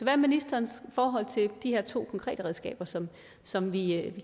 er ministerens forhold til de her to konkrete redskaber som som vi